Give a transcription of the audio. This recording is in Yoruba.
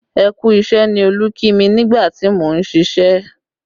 Ẹ kú isẹ ni Olú kí mi nígbà tí mo ń ṣíṣe